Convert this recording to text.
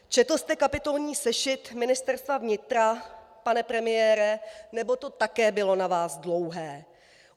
Četl jste kapitolní sešit Ministerstva vnitra, pane premiére, nebo to také bylo na vás dlouhé?